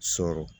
Sɔrɔ